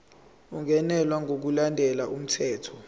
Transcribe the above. ungenelwe ngokulandela umthetho